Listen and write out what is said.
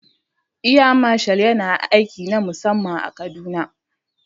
Air Marshal yana aiki na musamman a kaduna